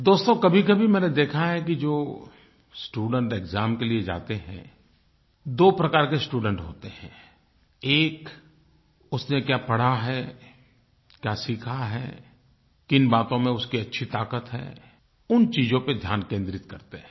दोस्तो कभीकभी मैंने देखा है कि जो स्टूडेंट एक्साम के लिए जाते हैं दो प्रकार के स्टूडेंट होते हैं एक उसने क्या पढ़ा है क्या सीखा है किन बातों में उसकी अच्छी ताक़त है उन चीजों पर ध्यान केंद्रित करते हैं